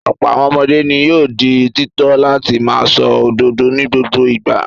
Ọ̀pọ̀ àwọn ọmọdé ni yóò di títọ́ láti máa sọ òdodo ní gbogbo ìgbà.